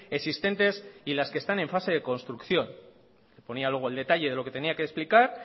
existentes y las que están en fase de construcción ponía luego el detalle de lo que tenía que explicar